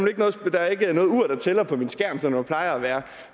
tæller på min skærm som der plejer at være